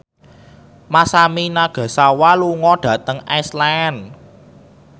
Masami Nagasawa lunga dhateng Iceland